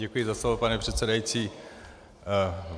Děkuji za slovo, pane předsedající.